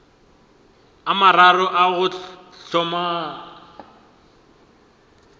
a mararo a go hlomagana